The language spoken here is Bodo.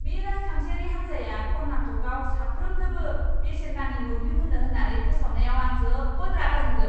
बे राजखान्थियारि हानजाया कर्नाटकआव साफ्रोमनोबो बेसेन नाङै मोब्लिब होनो होन्नानै फोसावनायाव आं जोबोद रागा जोंदों।